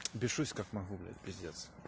бешусь как могу блять пиздец